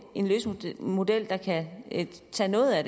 en løsningsmodel der kan tage noget af